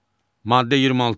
Maddə 26.